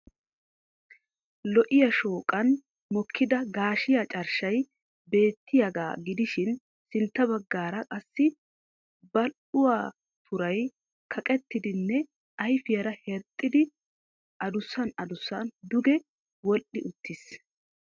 Lo'iyaa shooqaan mokida gaashiya carshshay beettiyaaga gidishin sintta bagaara qassi badhdhuwaa turay kaqettidinne ayfiyaara herxxexidi adusan adusaan duge wodhdhi uttis.